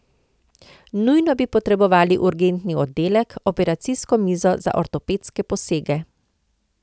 Nujno bi potrebovali urgentni oddelek, operacijsko mizo za ortopedske posege.